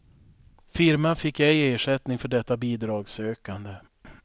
Firman fick ej ersättning för detta bidragssökande.